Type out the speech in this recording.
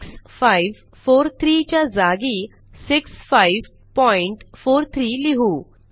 6543 च्या जागी 6543 लिहू